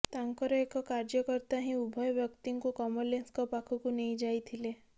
ତାଙ୍କର ଏକ କାର୍ଯ୍ୟକର୍ତ୍ତା ହିଁ ଉଭୟ ବ୍ୟକ୍ତିଙ୍କୁ କମଲେଶଙ୍କ ପାଖକୁ ନେଇଯାଇଥିଲେ